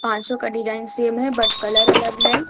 पांचों का design same है बट कलर अलग है।